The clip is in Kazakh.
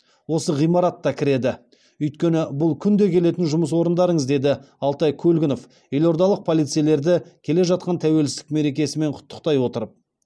осы ғимаратта кіреді өйткені бұл күнде келетін жұмыс орындарыңыз деді алтай көлгінов елордалық полицейлерді келе жатқан тәуелсіздік мерекесімен құттықтай отырып